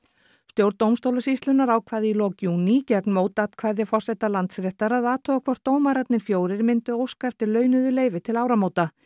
stjórn dómstólasýslunnar ákvað í lok júní gegn mótatkvæði forseta Landsréttar að athuga hvort dómararnir fjórir myndu óska eftir launuðu leyfi til áramóta